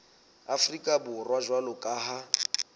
afrika borwa jwalo ka ha